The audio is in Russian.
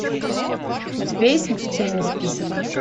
у тебя есть смертельный список